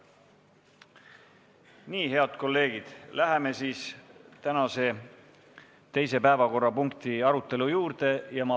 Nii, head kolleegid, läheme siis tänase teise päevakorrapunkti arutelu juurde.